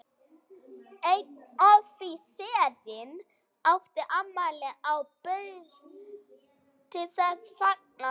Einn offíserinn átti afmæli og bauð til þessa fagnaðar.